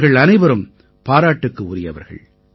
இவர்கள் அனைவரும் பாராட்டுக்கு உரியவர்கள்